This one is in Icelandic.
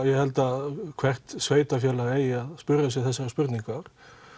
ég held að hvert sveitarfélag eigi að spyrja sig þessarar spurningar